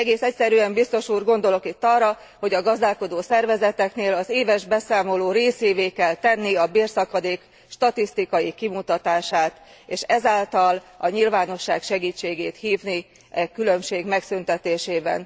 Egész egyszerűen, Biztos Úr, gondolok itt arra, hogy a gazdálkodó szervezeteknél az éves beszámoló részévé kell tenni a bérszakadék statisztikai kimutatását, és ezáltal a nyilvánosság segítségét kérni e különbség megszüntetésében.